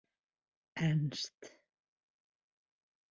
Ernst